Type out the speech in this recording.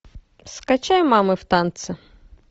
скачай мамы в танце